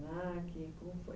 Como